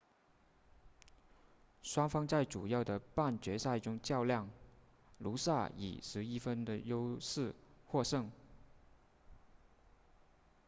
双方在主要的半决赛中较量努萨以11分的优势获胜